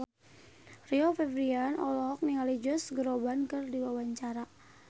Rio Febrian olohok ningali Josh Groban keur diwawancara